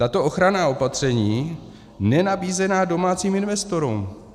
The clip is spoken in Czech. Tato ochranná opatření nenabízená domácím investorům.